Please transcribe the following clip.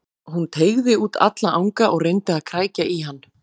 Hún teygði út alla anga og reyndi að krækja í hann.